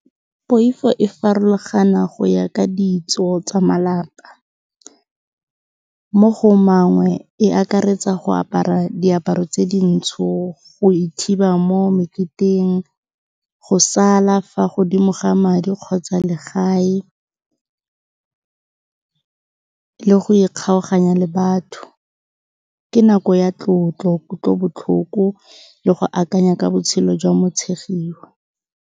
Poifo e farologana go ya ka ditso tsa malapa, mo go mangwe e akaretsa go apara diaparo tse dintsho, go ithiba mo meketeng, go sala fa godimo ga madi kgotsa legae, le go ikgaoganya le batho. Ke nako ya tlotlo, kutlobotlhoko le go akanya ka botshelo jwa motshegiwa.